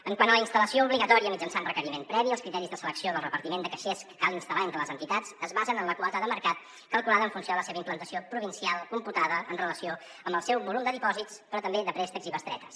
quant a la instal·lació obligatòria mitjançant requeriment previ els criteris de selecció del repartiment de caixers que cal instal·lar entre les entitats es basen en la quota de mercat calculada en funció de la seva implantació provincial computada en relació amb el seu volum de dipòsits però també de préstecs i bestretes